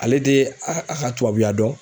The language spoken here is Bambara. Ale de a ka tubabuya dɔn.